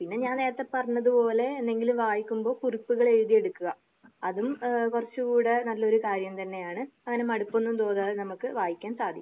പിന്നെ ഞാൻ നേരത്തെ പറഞ്ഞത് പോലെ എന്തെങ്കിലും വായിക്കുമ്പോൾ കുറിപ്പുകൾ എഴുതി എടുക്കുക. അതും ഏഹ് കുറച്ചു കൂടെ നല്ലൊരു കാര്യം തന്നെയാണ്. അങ്ങനെ മടുപ്പൊന്നും തോന്നാതെ നമുക്ക് വായിക്കാൻ സാധിക്കും.